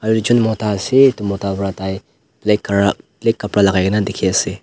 ekjun mota ase edu mota pra tai black calrr black kapra lakai na dikhiase.